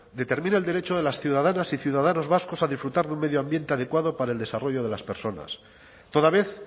determina el derecho de las ciudadanas y ciudadanos vascos a disfrutar de un medio ambiente adecuado para el desarrollo de las personas toda vez